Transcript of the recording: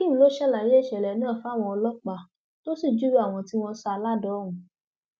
akeem ló ṣàlàyé ìṣẹlẹ náà fáwọn ọlọpàá tó sì júwe àwọn tí wọn sá a ládàá ọhún